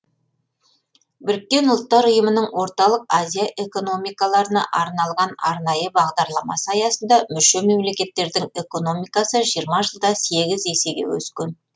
біріккен ұлттар ұйымының орталық азия экономикаларына арналған арнайы бағдарламасы аясында мүше мемлекеттердің экономикасы жиырма жылда сегіз есеге өскен